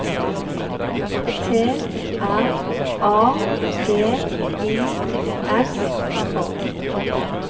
T R A G I S K